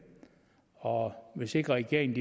og hvis ikke regeringen